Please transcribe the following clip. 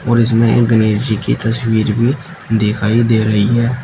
और इसमें एक गणेश जी की तस्वीर भी दिखाई दे रही है।